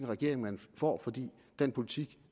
regering man får for den politik